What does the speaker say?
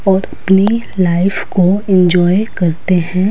और अपनी लाइफ को एंजॉय करते हैं।